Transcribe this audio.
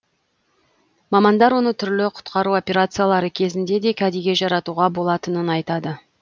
мамандар оны түрлі құтқару операциялары кезінде де кәдеге жаратуға болатынын айтады